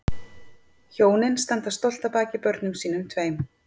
Hjónin standa stolt að baki börnum sínum tveim